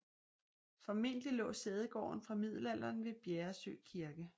Formentlig lå sædegården fra middelalderen ved Bjäresjö kirke